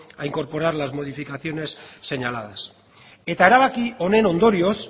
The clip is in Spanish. a incorporar las modificaciones señaladas eta erabaki honen ondorioz